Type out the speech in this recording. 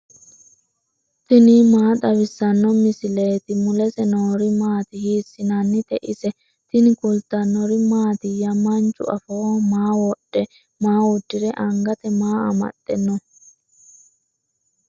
tini maa xawissanno misileeti ? mulese noori maati ? hiissinannite ise ? tini kultannori mattiya? Manchu afooho maa wodhe? maa udirre? angatte maa amaxxe noo?